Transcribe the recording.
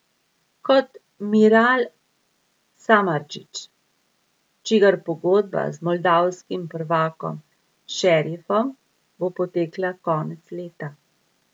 Kot Miral Samardžić, čigar pogodba z moldavskim prvakom Šerifom bo potekla konec leta.